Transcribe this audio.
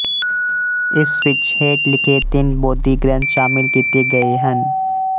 ਇਸ ਵਿੱਚ ਹੇਠ ਲਿਖੇ ਤਿੰਨ ਬੋਧੀ ਗ੍ਰੰਥ ਸ਼ਾਮਿਲ ਕੀਤੇ ਗਏ ਹਨ